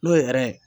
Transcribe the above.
N'o ye ye